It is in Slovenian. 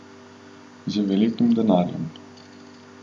Z velikim denarjem.